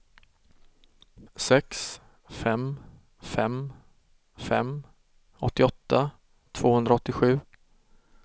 sex fem fem fem åttioåtta tvåhundraåttiosju